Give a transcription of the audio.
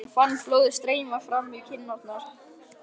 Hann fann blóðið streyma fram í kinnarnar.